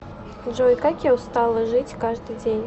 джой как я устала жить каждый день